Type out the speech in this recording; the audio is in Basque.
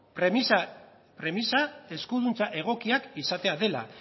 premisa eskuduntza egokiak izatea dela